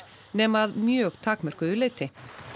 nema að mjög takmörkuðu leyti